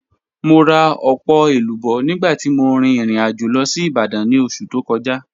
Mo ra ọpọ elubo nigba ti mo rin irin ajo lọ si Ibadan ni oṣu to kọja.